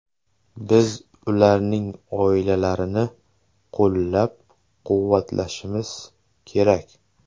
Biz ularning oilalarini qo‘llab-quvvatlashimiz kerak.